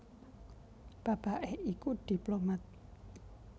Bapaké iku diplomat